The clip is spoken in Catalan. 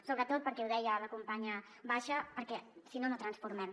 sobretot ho deia la campanya basha perquè si no no transformem